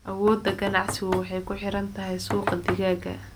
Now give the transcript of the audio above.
Awoodda ganacsigu waxay ku xiran tahay suuqa digaaga.